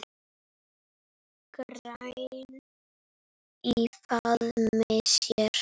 græn í faðmi sér.